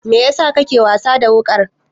Mai yasa kake wasa da wuƙar?